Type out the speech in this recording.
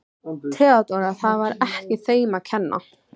THEODÓRA: Það var ekki þeim að kenna.